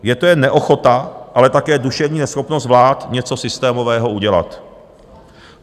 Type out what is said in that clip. Je to jen neochota, ale také duševní neschopnost vlád něco systémového udělat.